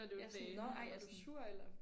Ja sådan nåh ej er du sur eller?